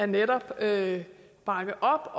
netop at bakke op